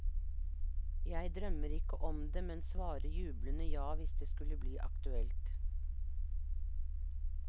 Jeg drømmer ikke om det, men svarer jublende ja hvis det skulle bli aktuelt.